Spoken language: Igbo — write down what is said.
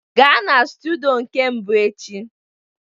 Gaa na studio nke mbụ echi!